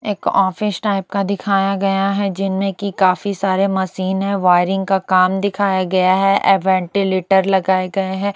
एक office type का दिखाया गया है जिनमें की काफी सारे मशीन है वायरिंग का काम दिखाया गया है ये वेंटिलेटर लगाए गए हैं।